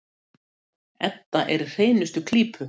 Edda er í hreinustu klípu.